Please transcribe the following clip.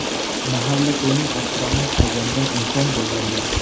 Mahalla-ko‘yning ehtiromini qozongan inson bo‘lganlar.